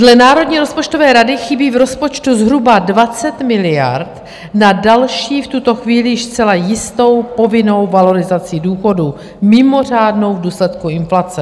Dle Národní rozpočtové rady chybí v rozpočtu zhruba 20 miliard na další, v tuto chvíli již zcela jistou povinnou valorizaci důchodů, mimořádnou v důsledku inflace.